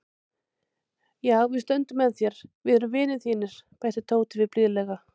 Já, við stöndum með þér, við erum vinir þínir bætti Tóti við blíðlega.